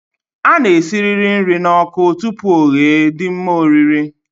A na-esirịrị nri n'ọkụ tupu ọ ghee dị mma orir